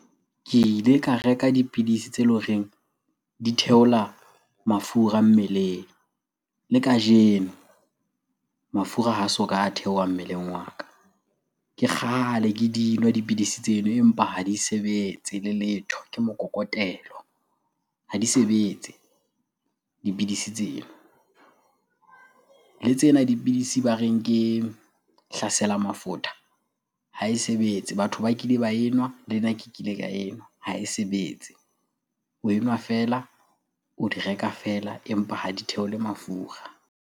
Ke ile ka reka dipidisi tse le horeng di theola mafura mmeleng. Le kajeno mafura ha so ka a theoha mmeleng wa ka. Ke kgale ke di nwa dipidisi tseno empa ha di sebetse le letho. Ke mokokotelo, ha di sebetse dipidisi tsena. Le tsena dipidisi ba reng ke hlasela mafutha ha e sebetse. Batho ba kile ba enwa, le nna ke kile ka enwa ha e sebetse. O enwa feela, o di reka feela empa ha di theole mafura.